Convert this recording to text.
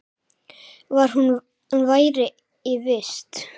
Hvar hún væri í vist.